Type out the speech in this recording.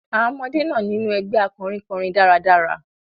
Àwọn ọmọdé náà niun ẹgbẹ́ akọrin kọrin dáradára.